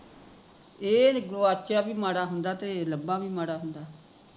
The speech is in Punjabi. ਇਹ ਗੁਆਚਿਆ ਵੀ ਮਾੜਾ ਹੁੰਦਾ ਤੇ ਲੱਭਾ ਵੀ ਮਾੜਾ ਹੁੰਦਾ